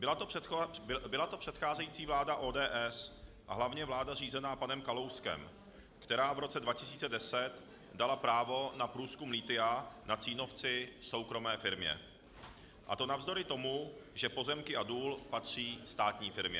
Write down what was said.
Byla to předcházející vláda ODS, a hlavně vláda řízená panem Kalouskem, která v roce 2010 dala právo na průzkum lithia na Cínovci soukromé firmě, a to navzdory tomu, že pozemky a důl patří státní firmě.